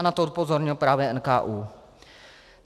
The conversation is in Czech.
A na to upozornil právě NKÚ.